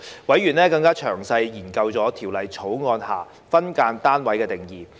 委員更詳細研究《條例草案》下"分間單位"的定義。